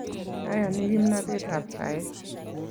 Ayani kimnatet ap saet